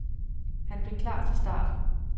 Han blev klar til start.